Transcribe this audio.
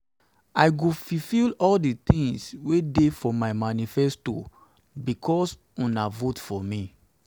i go fulfill all the things wey dey for my manifesto because una vote for me